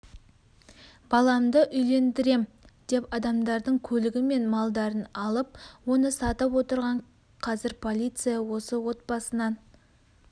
баламды үйлендірем деп адамдардың көлігі мен малдарын алып оны сатып отырған қазір полиция осы отбасынан